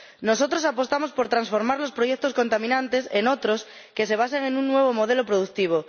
Nosotros apostamos por transformar los proyectos contaminantes en otros que se basen en un nuevo modelo productivo.